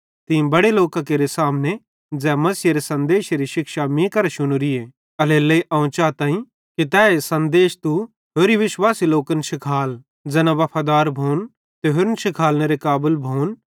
तीं बड़े लोकां केरे सामने ज़ै मसीहेरे सन्देशी शिक्षा मीं करां शुनोरिन एल्हेरेलेइ अवं चाताईं कि तैए सन्देश तू होरि विश्वासी लोकन शिखाल ज़ैना वफादार भोन ते होरन शिखालनेरे काबल भोन